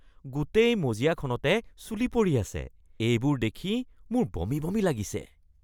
গোটেই মজিয়াখনতে চুলি পৰি আছে। এইবোৰ দেখি মোৰ বমি বমি লাগিছে।